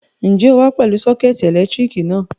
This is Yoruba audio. Ǹjẹ́ o wá pẹ̀lú sọ́kẹ́tì ẹ̀lẹ́tíríkì náà?